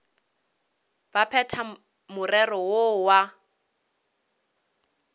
ba phethe morero woo wa